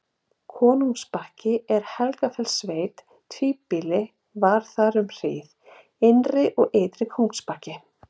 Kóngsbakki er í Helgafellssveit, tvíbýlt var þar um hríð: Innri- og Ytri-Kóngsbakki.